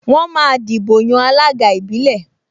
Wọ́n máa dìbò yan alága ìbílẹ̀